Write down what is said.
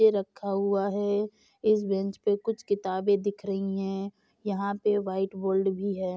यह रखा हुआ है इस बेंच पे कुछ किताबें दिख रही हैं यहाँ पे वाइट बोर्ड भी है।